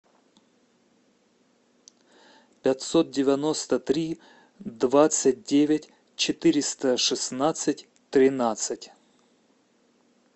пятьсот девяносто три двадцать девять четыреста шестнадцать тринадцать